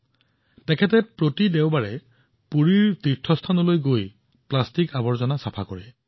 ৰাহুল মহাৰাণাই প্ৰতি দেওবাৰে ৰাতিপুৱা পুৰীৰ তীৰ্থস্থানলৈ যায় আৰু তাত প্লাষ্টিকৰ আৱৰ্জনা পৰিষ্কাৰ কৰে